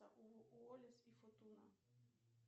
уоллис и футуна